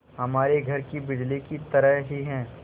हमारे घर की बिजली की तरह ही है